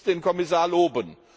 Ich muss den Kommissar loben.